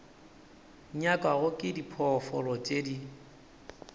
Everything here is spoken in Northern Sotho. nyakwago ke diphoofolo tše di